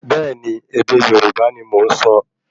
Bẹ́ẹ̀ni, ède Yorùbá ní mọ nsọ